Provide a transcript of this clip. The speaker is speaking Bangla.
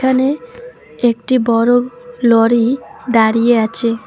এখানে একটি বড়ো লরি দাঁড়িয়ে আছে।